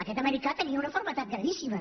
aquest americà tenia una malaltia gravíssima